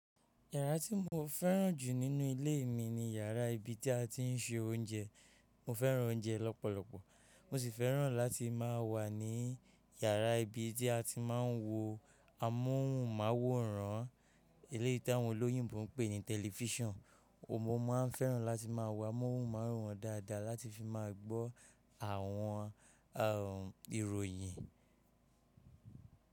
Yàrá tí mo fẹ́ràn jù nínú ilé mi ni yàrá ibi tí a ti ń se oúnjẹ. Mo fẹ́ràn oúnjẹ lọ́pọ̀lọpọ̀. Mo sì fẹ́ràn láti má a wà ní yàrá ibi tí a ti máa ń wo amóhùnmáwòrán, eléyìí tí àwọn olóyìnbo ń pè ní tẹlifísàn. Mo máa fẹ́ràn láti má a wo amóhùnmáwòrán dáadáa láti fi máa gbọ́ àwọn ìròyìn.